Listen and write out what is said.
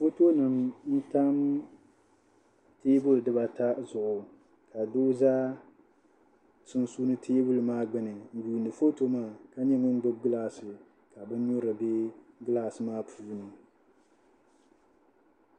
Fotonima n-tam teebuli dibata zuɣu doo za sunsuuni teebuli maa gbuni n-yuuni foto maa ka nyɛ ŋun gbubi gilaasi ka binyurili be gilaasi maa puuni